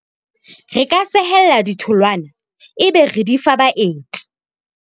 Re ka sehella ditholwana ebe re di fa baeti.